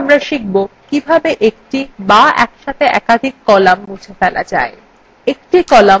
এরপর আমরা শিখব কিভাবে এক বা একসাথে একাধিক কলাম মুছে ফেলা যায়